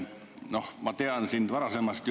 Noh, ma tean sind juba varasemast.